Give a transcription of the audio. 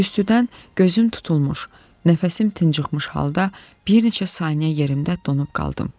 Tüstüdən gözüm tutulmuş, nəfəsim tıncıxmış halda bir neçə saniyə yerimdə donub qaldım.